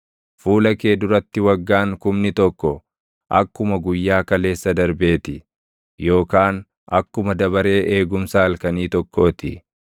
Fuula kee duratti waggaan kumni tokko, akkuma guyyaa kaleessa darbee ti; yookaan akkuma dabaree eegumsa halkanii tokkoo ti.